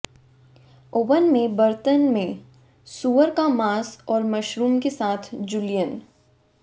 oven में बर्तन में सूअर का मांस और मशरूम के साथ जूलियन